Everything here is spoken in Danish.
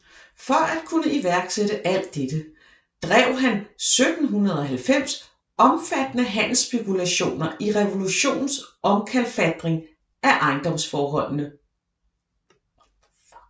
For at kunne iværksætte alt dette drev han 1790 omfattende handelsspekulationer i revolutionens omkalfatring af ejendomsforholdene